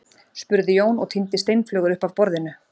spurði Jón og tíndi steinflögur upp af borðinu.